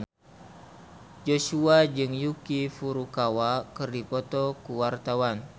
Joshua jeung Yuki Furukawa keur dipoto ku wartawan